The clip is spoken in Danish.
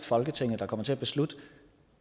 folketinget der kommer til at beslutte